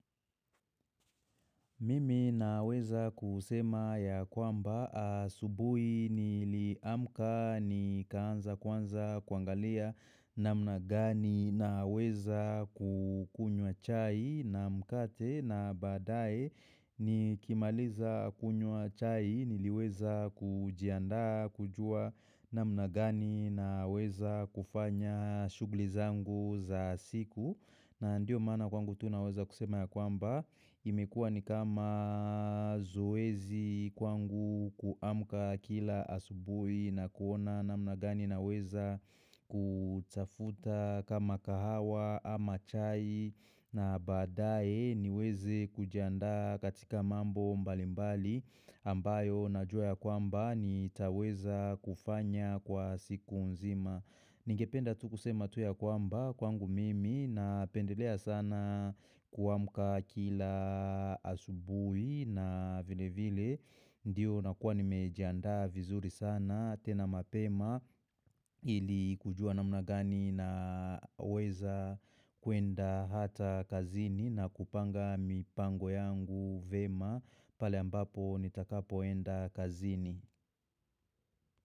Mimi naweza kusema ya kwamba asubui ni liamka ni kaanza kwanza kuangalia na mnagani na weza kukunywa chai na mkate na badae ni kimaliza kunywa chai ni liweza kujianda kujua namnagani na weza kufanya shughuli zangu za siku. Na ndio mana kwangu tu naweza kusema ya kwamba imekua ni kama zoezi kwangu kuamka kila asubui na kuona namnagani naweza kutafuta kama kahawa ama chai na badaye niweze kujanda katika mambo mbalimbali ambayo na jua ya kwamba ni taweza kufanya kwa siku nzima. Ningependa tu kusema tu ya kwamba kwangu mimi napendelea sana kuwamuka kila asubui na vile vile Ndiyo nakuwa nimejiandaa vizuri sana tena mapema ili kujua na mnagani na weza kuenda hata kazini na kupanga mipango yangu vema pale ambapo nitakapoenda kazini.